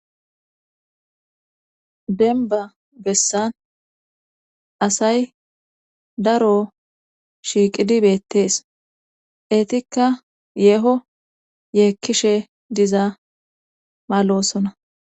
denba bessan asay daro shiiqidi beettees eetikka yeeho yeekkishe diza maalosona